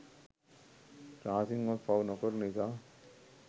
රහසින්වත් පව්නොකරන නිසා